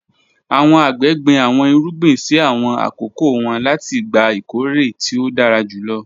Àwọn àgbẹ̀ gbin àwọn ìrúgbìn sí àwọn akókò wọn láti gbà ìkọ̀rẹ̀ tí o dára júlọ